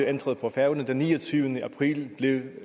ændret på færøerne den niogtyvende april blev